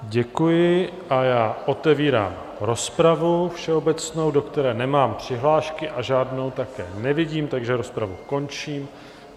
Děkuji a já otevírám rozpravu všeobecnou, do které nemám přihlášky, a žádnou také nevidím, takže rozpravu končím.